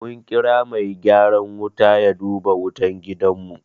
Mun kira mai gyaran wuta ya duba wutan gidanmu.